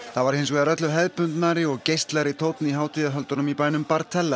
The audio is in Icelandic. það var hins vegar öllu hefðbundnari og tónn í hátíðahöldunum í bænum